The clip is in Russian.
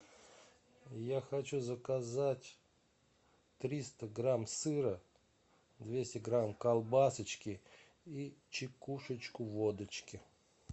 я хочу заказать триста грамм сыра двести грамм колбасочки и чекушечку водочки